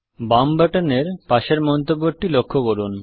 বাম বাটন এর পাশের মন্তব্যটি লক্ষ্য করুন